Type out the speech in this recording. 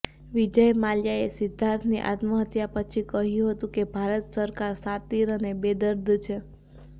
વિજય માલ્યાએ સિદ્ધાર્થની આત્મહત્યા પછી કહ્યું હતું કે ભારત સરકાર શાતિર અને બેદર્દ છે